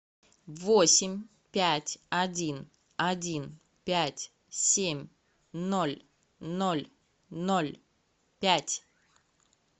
восемь пять один один пять семь ноль ноль ноль пять